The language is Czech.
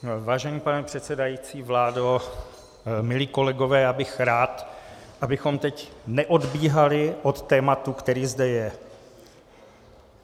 Vážený pane předsedající, vládo, milí kolegové, já bych rád, abychom teď neodbíhali od tématu, které zde je.